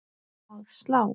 Að slá?